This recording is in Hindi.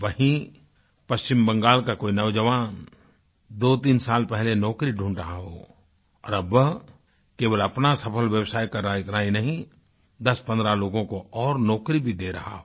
वहीं पश्चिम बंगाल का कोई नौजवान दोतीन साल पहले नौकरी ढूंढ रहा हो और अब वह केवल अपना सफल व्यवसाय कर रहा है इतना ही नहीं दसपंद्रह लोगों को और नौकरी भी दे रहा है